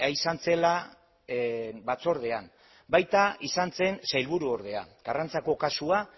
izan zela batzordean baita izan zen sailburu ordea karrantzako kasua